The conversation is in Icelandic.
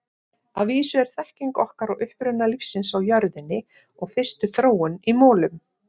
Að vísu er þekking okkar á uppruna lífsins á jörðinni og fyrstu þróun í molum.